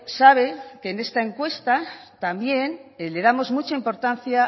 sabe que en esta encuesta también le damos mucha importancia